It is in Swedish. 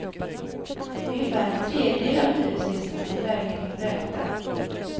Ungefär en tredjedel av hyresgästerna blir verkligen vräkta.